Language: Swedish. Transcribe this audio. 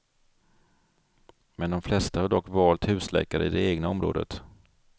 Men de flesta har dock valt husläkare i det egna området.